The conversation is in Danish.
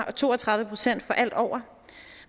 og to og tredive procent for alt derover